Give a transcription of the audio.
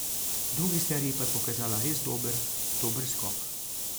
V drugi seriji pa je pokazala res dober, dober skok.